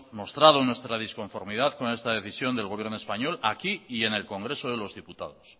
mostrado nuestra disconformidad con esta decisión del gobierno español aquí y en el congreso de los diputados